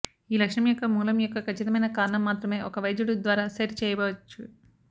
ఈ లక్షణం యొక్క మూలం యొక్క ఖచ్చితమైన కారణం మాత్రమే ఒక వైద్యుడు ద్వారా సెట్ చేయబడవచ్చు